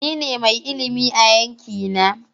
Ni ne mai ilimi a yanki na.